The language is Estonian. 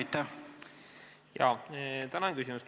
Tänan küsimuse eest!